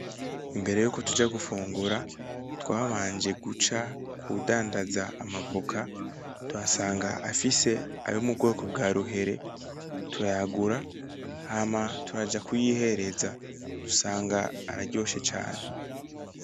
Imbere yuko tuja gufungura, twabanje guca kudadanza amavoka, tuhasanga afise ayo mu bwoko bwa ruhere, turayagura hama turaja kuyihereza dusanga araryoshe cane.